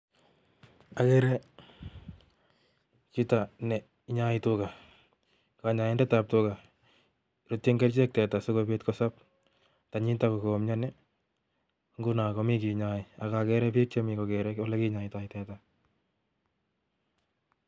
Akere chito nee inyoik tuga kanyoindet ab tuga Ruchin kerchek tuga si kobit kosob tanyitak ko komianii Nguni komii che inyoi aka kere biik che kere ole kinyoitoi tuga